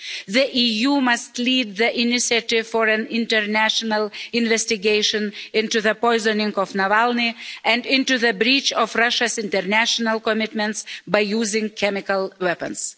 The EU must lead the initiative for an international investigation into the poisoning of Navalny and into the breach of Russia's international commitments by using chemical weapons.